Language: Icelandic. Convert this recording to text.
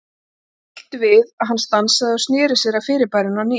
Honum varð svo bilt við að hann stansaði og sneri sér að fyrirbærinu á ný.